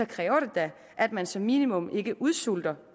kræver det da at man som minimum ikke udsulter